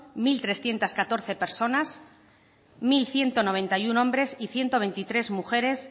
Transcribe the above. mil trescientos catorce personas mil ciento noventa y uno hombres y ciento veintitrés mujeres